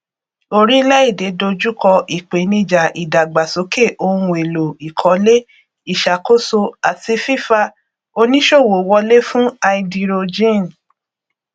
orílẹèdè dojú kọ ìpèníjà ìdàgbàsókè ohunèlò ìkọlé ìṣàkóso àti fífa oníṣòwò wọlé fún háídírójìn